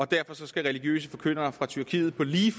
derfor skal religiøse forkyndere fra tyrkiet på lige